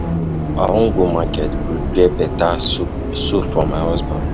I wan go market prepare beta soup soup for my husband.